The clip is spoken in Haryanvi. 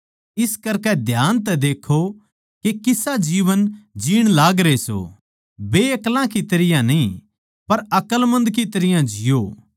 इस करकै ध्यान तै देक्खों के किसा जीवन जीण लागरे सों बेअक्ला की तरियां न्ही पर अकलमंद की तरियां जिओ